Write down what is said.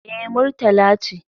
Eh, Murtala ce